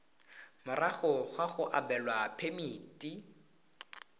morago ga go abelwa phemiti